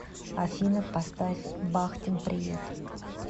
афина поставь бахтин приют